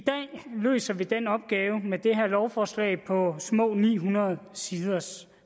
løser vi den opgave med det her lovforslag på små ni hundrede sider